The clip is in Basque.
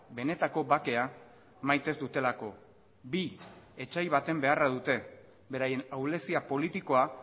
benetako bakea maite ez dutelako bi etsai baten beharra dute beraien ahulezia politikoa